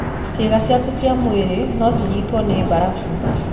Ciĩga ciaku cia mwĩrĩ no cinyitwo nĩ mbarabu.